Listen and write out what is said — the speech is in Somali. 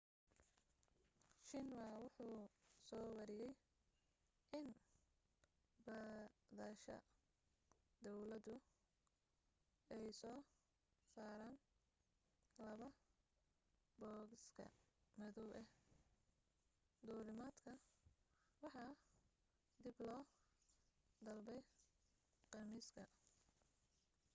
xinhua wuxu soo wariyay in baadhayasha dawladu ay soo saareen laba bogoska madow ah' duulimaadka waxa dib loo dalbay khamiiska